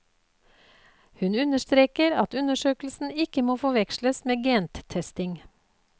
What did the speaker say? Hun understreker at undersøkelsen ikke må forveksles med gentesting.